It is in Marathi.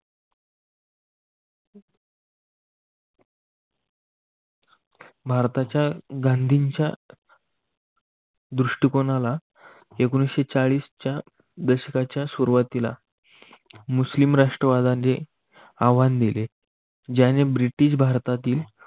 भारताच्या गांधींच्या दृष्टिकोनाला एकोणविससेचाळीसच्या दशकाच्या सुरुवातीला मुस्लिम राष्ट्रवादी आव्हान दिले. जाने ब्रिटिश भारतातील